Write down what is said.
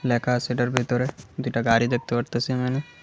লেখা আছে এটার ভিতরে দুইটা গাড়ি দেখতে পারতাসি আমি এহানে ।